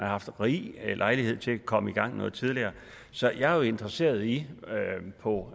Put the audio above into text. haft rig lejlighed til at komme i gang noget tidligere så jeg er jo interesseret i på